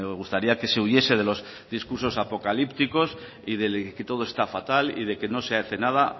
gustaría que se huyese de los discursos apocalípticos y del que todo está fatal y de que no se hace nada